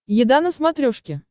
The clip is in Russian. еда на смотрешке